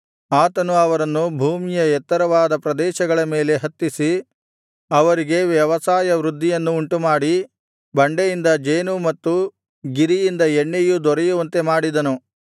ಆತನು ಅವರನ್ನು ಭೂಮಿಯ ಎತ್ತರವಾದ ಪ್ರದೇಶಗಳ ಮೇಲೆ ಹತ್ತಿಸಿ ಅವರಿಗೆ ವ್ಯವಸಾಯ ವೃದ್ಧಿಯನ್ನು ಉಂಟುಮಾಡಿ ಬಂಡೆಯಿಂದ ಜೇನೂ ಮತ್ತು ಗಿರಿಯಿಂದ ಎಣ್ಣೆಯೂ ದೊರೆಯುವಂತೆ ಮಾಡಿದನು